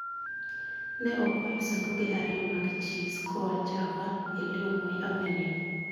Ne okwayo sanduge ariyo mag cheese koa Java ilio moi avenue